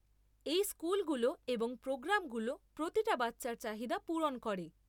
এই স্কুলগুলো এবং প্রোগ্রামগুলো প্রতিটা বাচ্চার চাহিদা পূরণ করে।